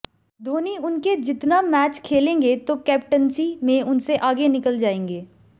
धोनी उनके जितना मैच खेलेंगे तो कैप्टेंसी में उनसे आगे निकल जाएंगे